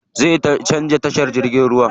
Zaʼa canza tashar jirgin ruwa.